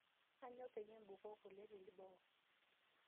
Aanyo payie impukoo kule teboo